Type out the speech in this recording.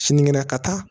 Sinikɛnɛ ka taa